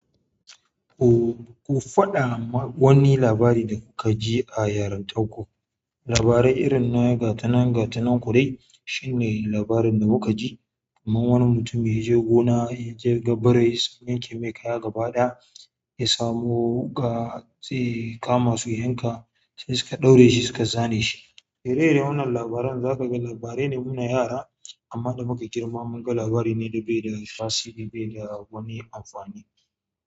Ku faɗa wani labari da ka ji a yarintar ku. Labarai irin na gatanan gatanan ku dai shine labarin da muka ji, kaman wani mutum ya je gona ya je gabbar yayi sanke mai kaya gaba ɗaya ya samu ga tsiya kama su yanka sai suka ɗaure shi suka zane shi. Irin irin wannan labaran za ka ga labarai ne muna yara, amma da muka girmama munga labari ne da bai da tasiri bai da wani amfani.